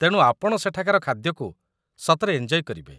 ତେଣୁ ଆପଣ ସେଠାକାର ଖାଦ୍ୟକୁ ସତରେ ଏଞ୍ଜୟ କରିବେ ।